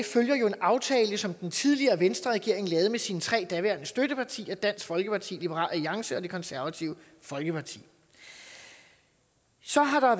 følger jo en aftale som den tidligere venstreregering lavede med sine tre daværende støttepartier dansk folkeparti liberal alliance og det konservative folkeparti så har